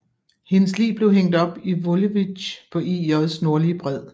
Hendes lig blev hængt op i Volewijk på IJs nordlige bred